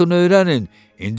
Baxın öyrənin.